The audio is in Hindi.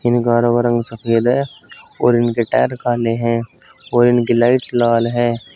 इन कारों का रंग सफेद है और इनके टायर काले हैं और इनकी लाइट लाल है।